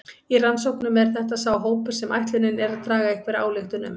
Í rannsóknum er þetta sá hópur sem ætlunin er að draga einhverja ályktun um.